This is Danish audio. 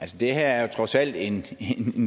det her er jo trods alt en